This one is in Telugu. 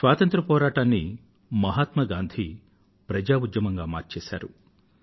స్వాతంత్ర పోరాటాన్ని మహాత్మా గాంధీ ప్రజా ఉద్యమంగా మార్చేసారు